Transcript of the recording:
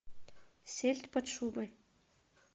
сельдь под шубой